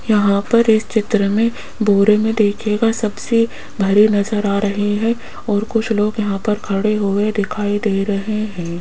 यहां पर इस चित्र में बोरे में देखिएगा सबसे भरे नजर आ रही हैं और कुछ लोग यहां पर खड़े हुए दिखाई दे रहे हैं।